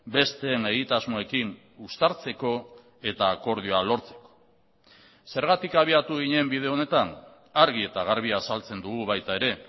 besteen egitasmoekin uztartzeko eta akordioa lortzeko zergatik abiatu ginen bide honetan argi eta garbi azaltzen dugu baita ere